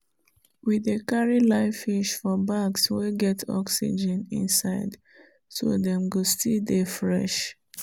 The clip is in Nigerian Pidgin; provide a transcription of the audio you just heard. we dey carry live fish for bags wey get oxygen inside so dem go still dey fresh.